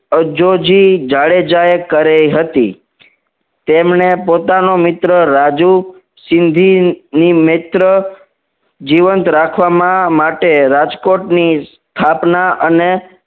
અજોજી જાડેજાએ કરી હતી તેમને પોતાનો મિત્ર રાજુ સિંધી ની મિત્ર જીવંત રાખવામાં માટે રાજકોટની સ્થાપના અન